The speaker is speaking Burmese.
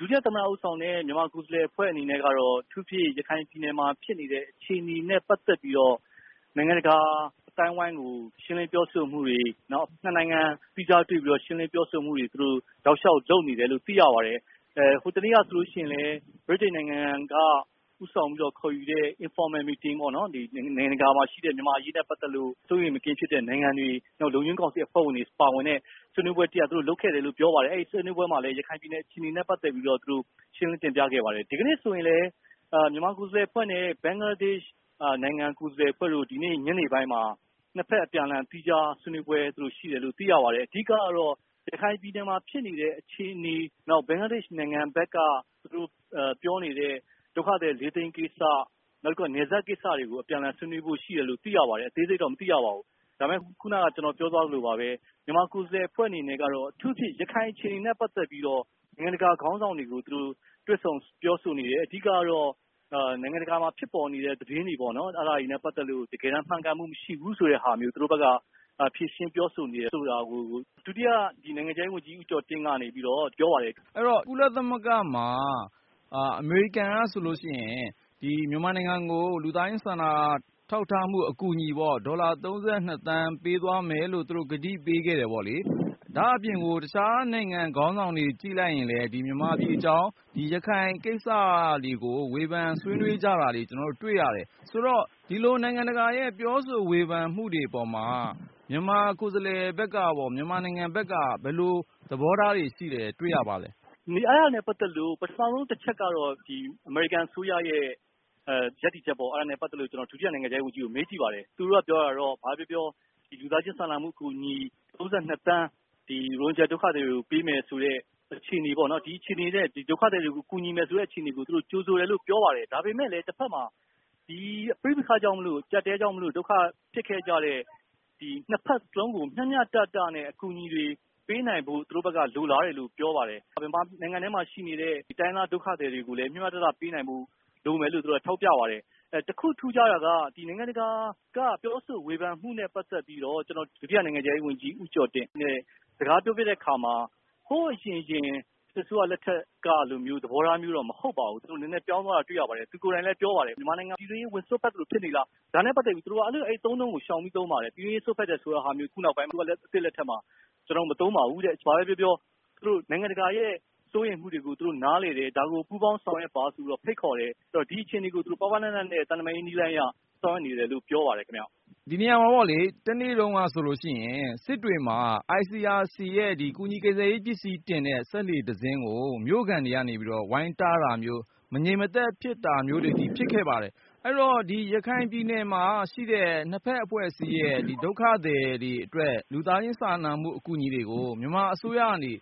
ဒုတိယသမ္မတဦးဆောင်တဲ့ မြန်မာကိုယ်စားလှယ်အဖွဲ့အနေနဲ့ကတော့ အထူးသဖြင့် ရခိုင်ပြည်နယ်မှာဖြစ်နေတဲ့အခြေအနေနဲ့ ပတ်သက်ပြီးတော့ နိုင်ငံတကာအသိုင်းအဝိုင်းကို ရှင်းလင်းပြောဆိုမှုတွေ၊ နောက် ၂ နိုင်ငံ သီးခြားတွေ့ပြီးတော့ ရှင်းလင်းပြောဆိုမှုတွေ သူတို့ တောက်လျောက်လုပ်နေတယ်လို့ သိရပါတယ်။ ဟိုတနေ့ကဆိုရင်လည်း ဗြိတိန်နိုင်ငံက ဦးဆောင်ပြီးတော့ခေါ်ယူတဲ့ Informal meeting ပေါ့နော် ၊ နိုင်ငံတကာမှာရှိတဲ့ မြန်မာ့အရေးနဲ့ ပတ်သက်လို့ စိုးရိမ်မကင်းဖြစ်တဲ့နိုင်ငံတွေ နောက်ပြီးတော့ လုံခြုံရေးကောင်စီ အဖွဲ့ဝင်တွေပါဝင်တဲ့ ဆွေးနွေးပွဲတရပ် သူတို့လုပ်ခဲ့တယ်လို့ ပြောပါတယ် အဲဒီဆွေးနွေးပွဲမှာလည်း ရခိုင်ပြည်နယ်အခြေအနေနဲ့ ပတ်သက်ပြီးတော့ သူတို့ရှင်းလင်းတင်ပြခဲ့ပါတယ်။ ဒီကနေ့ဆိုရင်လည်း မြန်မာကိုယ်စားလှယ်အဖွဲ့နဲ့ ဘင်္ဂလားဒေ့ရှ်နိုင်ငံ ကိုယ်စားလှယ်အဖွဲ့တို့ ဒီနေ့ ညနေပိုင်းမှာ ၂ ဖက်အပြန်အလှန် သီးခြားဆွေးနွေးပွဲသူတို့ရှိတယ်လို့ သိရပါတယ်။ အဓိကတော့ ရခိုင်ပြည်နယ်မှာဖြစ်နေတဲ့ အခြေအနေ၊ နောက်ဘင်္ဂလားဒေ့ရှ်နိုင်ငံ ဘက်က သူတို့ပြောနေတဲ့ ဒုက္ခသည် ၄ သိန်းကိစ္စ ၊ နောက်တခုက နယ်စပ်ကိစ္စတွေကို အပြန်အလှန်ဆွေးနွေးဖို့ရှိတယ်လို့ သိရပါတယ်။ အသေးစိတ်တော့မသိရပါဘူး။ ဒါပေမယ့် ခုနက ကျနော်ပြောသွားသလိုပါပဲ မြန်မာကိုယ်စားလှယ်အဖွဲ့အနေနဲ့ကတော့အထူးသဖြင့် ရခိုင်အခြေအနေနဲ့ ပတ်သက်ပြီးတော့ နိုင်ငံတကာခေါင်းဆောင်တွေကို သူတို့ တွေ့ဆုံပြောဆိုနေတယ် အဓိကတော့ နိုင်ငံတကာမှာဖြစ်ပေါ်နေတဲ့ သတင်းတွေပေါ့နော် အဲဒါတွေနဲ့ ပတ်သက်လို့ တကယ်တမ်း မှန်ကန်မှုမရှိဘူးဆိုတဲ့ဟာမျိုး သူတို့ဘက်က ဖြေရှင်းပြောဆိုနေတယ်ဆိုတာကို ဒုတိယ နိုင်ငံခြားရေးဝန်ကြီး ဦးကျော်တင်ကနေ ပြောပါတယ်။ အဲဒီတော့ ကုလသမဂ္ဂမှာ အမေရိကန်ကဆိုရင် ဒီမြန်မာနိုင်ငံကို လူသားချင်းစာနာထောက်ထားမှု အကူအညီပေါ့ ဒေါ်လာ ၃၂ သန်းပေးသွားမယ်လို့ သူတို့ ကတိပေးခဲ့တယ်ပေါ့လေ၊ ဒါ့အပြင်ကို တခြားနိုင်ငံခေါင်းဆောင်တွေ ကြည့်လိုက်ရင်လည်း ဒီမြန်မာပြည်အကြောင်း ရခိုင်ကိစ္စတွေကို ဝေဖန်ဆွေးနွေးကြတာတွေ တွေ့ရတယ်။ ဆိုတော့ ဒီလိုနိုင်ငံတကာရဲ့ ပြောဆိုဝေဖန်မှုတွေ အပေါ်မှာ မြန်မာကိုယ်စားလှယ် ဘက်ကပေါ့ မြန်မာနိုင်ငံဘက်ကပေါ့ ဘယ်လိုသဘောထားတွေရှိတယ်ဆိုတာ တွေ့ရပါသလဲ။ အဲဒါနဲ့ ပတ်သက်လို့ ပထမဦးဆုံးတချက်ကတော့ အမေရိကန်အစိုးရရဲ့ ရပ်တည်ချက်ပေါ့ ။အဲဒါနဲ့ ပတ်သက်လို့ ကျနော် ဒုတိယနိုင်ငံခြားရေးဝန်ကြီးကို မေးကြည့်ပါတယ်။ သူတို့ပြောတာကတော့ ဘာပဲပြောပြော လူသားချင်းစာနာမှုအကူအညီ ၃၂ သန်း ရိုဟင်ဂျာ ဒုက္ခသည်တွေကို ပေးမယ်ဆိုတဲ့ အခြေအနေပေါ့နော်၊ ဒီအခြေအနေနဲ့ ဒုက္ခသည်တွေကို ကူညီမယ်ဆိုတဲ့အခြေအနေကို ကြိုဆိုမယ်ဆိုတာကို ပြောပါတယ်။ ဒါပေမယ့် တဖက်မှာ ပဋိပက္ခကြောင့်မို့လို့ အကျပ်အတည်း ကြောင့် ဒုက္ခဖြစ်ခဲ့တဲ့ ၂ ဖက်စလုံးကို မျှမျှတတနဲ့ အကူအညီတွေ ပေးနိုင်ဖို့ သူတို့ဘက်က လိုလားတယ်လို့ ပြောပါတယ်။ မြန်မာနိုင်ငံထဲမှာရှိနေတဲ့ တိုင်းရင်းသားဒုက္ခသည်တွေကိုလည်း မျှမျှတတပေးနိုင်ဖို့ လိုမယ်ဆိုတာ သူတို့ထောက်ပြပါတယ်။ တခုထူးခြားတာက ဒီနိုင်ငံတကာကပြောဆို ဝေဖန်မှုနဲ့ ပတ်သက်ပြီးတော့ ကျနော် ဒုတိယနိုင်ငံခြားရေးဝန်ကြီး ဦးကျော်တင်နဲ့ စကားပြောဖြစ်တဲ့အခါမှာ ဟိုအရင်အစိုးရလက်ထက်ကလိုမျိုး သဘောထားမျိုးတော့ မဟုတ်ပါဘူး။ သူတို့နည်းနည်းပြောင်းသွားတာ တွေ့ရပါတယ်။ သူကိုယ်တိုင်လည်းပြောပါတယ်။ မြန်မာနိုင်ငံ ပြည်တွင်းရေးဝင်စွက်ဖက် သလိုဖြစ်နေလား၊ ဒါနဲ့ ပက်သက်ပြီး သူတို့ အဲဒီအသုံးအနှုန်းကို ရှောင်ပြီးသုံးပါတယ်။ ပြည်တွင်းရေးဝင်စွက်ဖက်တာ ဒီအစိုးရသစ်လက်ထက်မှာ ကျနော်တို့ မသုံးပါဘူးတဲ့၊ ဘာပဲပြောပြော နိုင်ငံတကာရဲ့ စိုးရိမ်မှုတွေကို သူတို့နားလည်တယ် ဒါကို ပူးပေါင်းဆောင်ရွက်တာကို ဖိတ်ခေါ်တယ် ဆိုတော့ ဒီအခြေအနေကို ပါးပါးနပ်နပ်နဲ့ သံတမန်ရေးနည်းလမ်းအရ ဆောင်ရွက်နေတယ်လို့ ပြောပါတယ်ခင်ဗျ။ ဒီနေရာမှာပေါ့လေ တနေ့တုန်းကဆိုရင် စစ်တွေမှာ ICRC ရဲ့ ကူညီကယ်ဆယ်ရေးပစ္စည်းတင်တဲ့ စက်လှေတစင်းကို မြို့ခံတွေကနေပြီးတော့ ဝိုင်းတားတာမျိုး ၊ မငြိမ်မသက်ဖြစ်တာမျိုးတွေအထိ ဖြစ်ခဲ့ပါတယ်။ အဲဒီတော့ရခိုင်ပြည်နယ်မှာရှိတဲ့ ၂ ဖက်အဖွဲ့အစည်းရဲ့ ဒုက္ခသည်တွေအတွက် လူသားချင်းစာနာမှုအကူအညီတွေကို မြန်မာအစိုးရကနေ